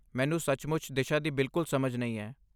ਮੈਨੂੰ ਸੱਚਮੁੱਚ ਦਿਸ਼ਾ ਦੀ ਬਿਲਕੁਲ ਸਮਝ ਨਹੀਂ ਹੈ।